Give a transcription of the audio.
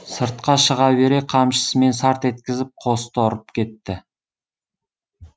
сыртқа шыға бере қамшысымен сарт еткізіп қосты ұрып кетті